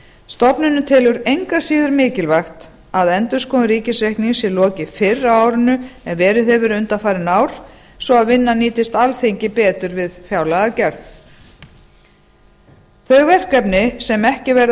stofnunin telur engu að síður mikilvægt að endurskoðun ríkisreiknings sé lokið fyrr á árinu ern verið hefur undanfarin ár svo vinnan nýtist alþingi betur við fjárlagagerð þau verkefni sem ekki verða